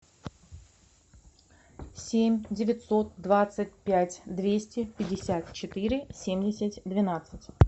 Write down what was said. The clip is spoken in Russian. семь девятьсот двадцать пять двести пятьдесят четыре семьдесят двенадцать